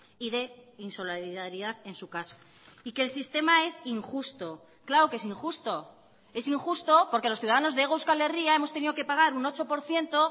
y de insolidaridad en su caso y que el sistema es injusto claro que es injusto es injusto porque los ciudadanos de hego euskal herria hemos tenido que pagar un ocho por ciento